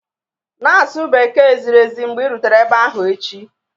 Na-asụ Bekee ziri ezi mgbe ị rutere ebe ahụ echi